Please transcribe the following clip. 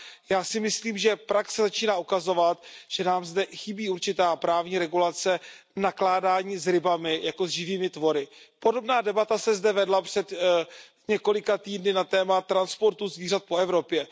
Já si myslím, že praxe začíná ukazovat, že nám zde chybí určitá právní regulace nakládání s rybami jako s živými tvory. Podobná debata se zde vedla před několika týdny na téma transportu zvířat po Evropě.